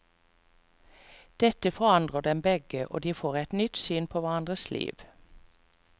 Dette forandrer dem begge, og de får et nytt syn på hverandres liv.